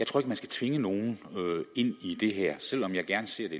tror man skal tvinge nogen ind i det her og selv om jeg gerne ser at